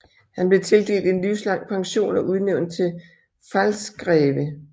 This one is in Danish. Han blev tildelt en livslang pension og udnævnt til Pfalzgreve